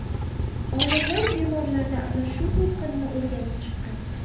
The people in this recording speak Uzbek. Olimlar bemorlarda ana shu to‘lqinni o‘rganib chiqqan.